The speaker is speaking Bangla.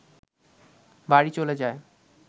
বাড়ি চলে যায়